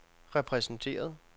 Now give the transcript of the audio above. repræsenteret